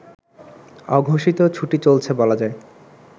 অঘোষিত ছুটি চলছে বলা যায়